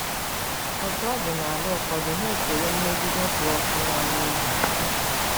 Otú ọ dị n'ala ụfọdụ, ha echewo mmegide kpụ ọkụ n'ọnụ ihu.